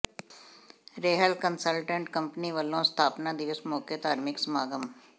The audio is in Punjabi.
ਰੇਹਲ ਕੰਸਲਟੈਂਟ ਕੰਪਨੀ ਵਲੋਂ ਸਥਾਪਨਾ ਦਿਵਸ ਮੌਕੇ ਧਾਰਮਿਕ ਸਮਾਗਮ